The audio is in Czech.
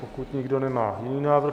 Pokud nikdo nemá jiný návrh...